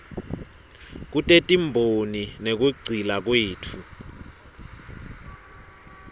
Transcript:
kutetimboni nekugcila kwetfu